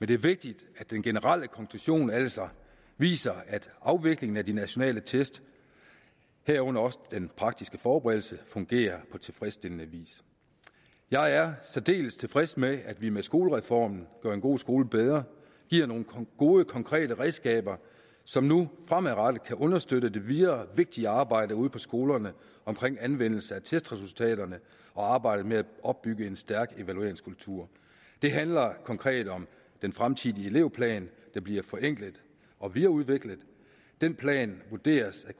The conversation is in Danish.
det er vigtigt at den generelle konklusion altså viser at afviklingen af de nationale test herunder også den praktiske forberedelse fungerer på tilfredsstillende vis jeg er særdeles tilfreds med at vi med skolereformen gør en god skole bedre giver nogle gode konkrete redskaber som nu fremadrettet kan understøtte det videre vigtige arbejde ude på skolerne omkring anvendelse af testresultaterne og arbejdet med at opbygge en stærk evalueringskultur det handler konkret om den fremtidige elevplan der bliver forenklet og videreudviklet den plan vurderes at